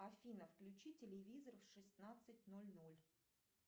афина включи телевизор в шестнадцать ноль ноль